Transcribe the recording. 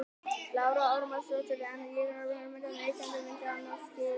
Lára Ómarsdóttir: En þær hugmyndir að Neytendastofa myndi annast slíkar kannanir?